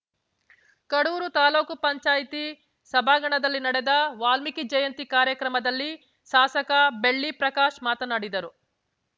ಕಡೂರು ತಾಲೂಕು ಪಂಚಾಯತಿ ಸಭಾಂಗಣದಲ್ಲಿ ನಡೆದ ವಾಲ್ಮೀಕಿ ಜಯಂತಿ ಕಾರ್ಯಕ್ರಮದಲ್ಲಿ ಶಾಸಕ ಬೆಳ್ಳಿ ಪ್ರಕಾಶ್‌ ಮಾತನಾಡಿದರು